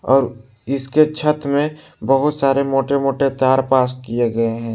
और इसके छत में बहोत सारे मोटे मोटे तार पास किए गए हैं।